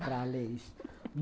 Para ler isso.